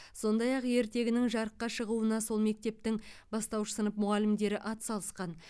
сондай ақ ертегінің жарыққа шығуына сол мектептің бастауыш сынып мұғалімдері атсалысқан